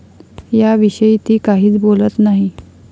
याविषयी ती काहीच बोलत नाही.